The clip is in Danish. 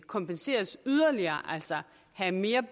kompenseres yderligere altså have mere